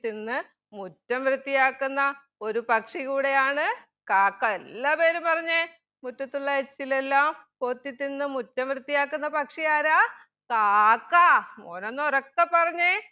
തിന്ന് മുറ്റം വൃത്തിയാക്കുന്ന ഒരു പക്ഷി കൂടെയാണ് കാക്ക എല്ലാവരും പറഞ്ഞെ മുറ്റത്തുള്ള എച്ചിലെല്ലാം കൊത്തിതിന്ന് മുറ്റം വൃത്തിയാക്കുന്ന പക്ഷി ആരാ കാക്ക മോനൊന്ന് ഉറക്കെ പറഞ്ഞെ